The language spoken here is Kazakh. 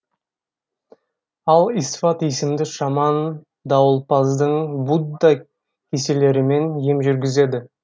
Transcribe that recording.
ал исфат есімді шаман дауылпаздың будда кеселерімен ем жүргізеді